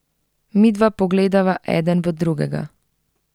Midva pogledava eden v drugega.